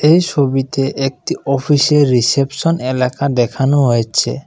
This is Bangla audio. এই ছবিতে একটি অফিসের রিসেপশন এলাকা দেখানো হয়েছে।